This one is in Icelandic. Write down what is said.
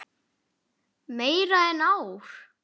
Meira en ár.